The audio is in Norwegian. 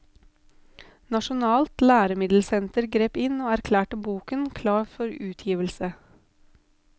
Nasjonalt læremiddelsenter grep inn og erklærte boken klar for utgivelse.